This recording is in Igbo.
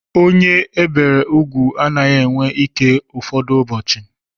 Onye ebiri úgwù anaghị enwe ike ụfọdụ ụbọchị.